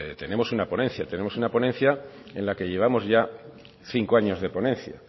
tenemos una ponencia tenemos una ponencia en la que llevamos ya cinco años de ponencia